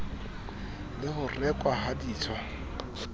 le ho rekwa ha ditswa